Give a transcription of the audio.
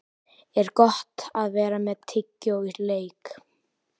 Er Gott að vera með tyggjó í leik?